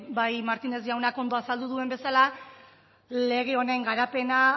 bai martínez jaunak ondo azaldu duen bezala lege honen garapena